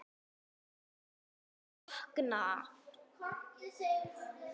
Þú verður að vakna.